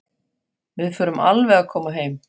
Við förum alveg að koma heim.